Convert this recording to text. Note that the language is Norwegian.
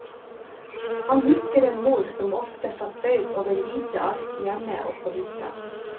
Han husker en mor som ofte satt bøyd over hvite ark, hjemme og på hytta.